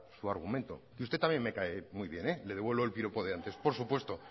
su argumento y usted también me cae muy bien le devuelvo el piropo de antes por supuesto